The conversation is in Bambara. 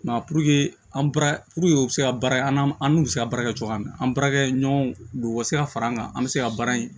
Mɛ puruke an baara pe u bɛ se ka baara an n'an an n'u bɛ se ka baara kɛ cogoya min na an baarakɛɲɔgɔnw u ka se ka fara an kan an bɛ se ka baara in